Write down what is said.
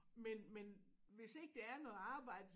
Men men hvis ikke der er noget arbejde